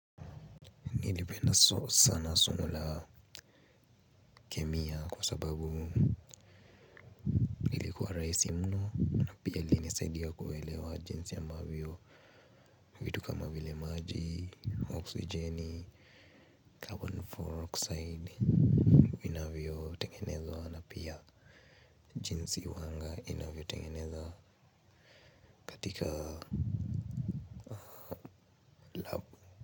Nilipenda sana somo la kemia kwa sababu lilikuwa rahisi mno. Pia linisaidia kuelewa jinsi ambavyo kitu kama vile maji, oksijeni, 'carbon di-oxide' vinavyotengenezwa ana pia jinsi huwanga inavyotengeneza katika.